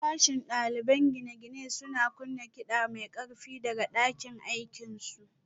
Sashen ɗaliban gine-gine suna kunna kiɗa mai ƙarfi daga ɗakin aikinsu